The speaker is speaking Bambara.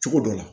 Cogo dɔ la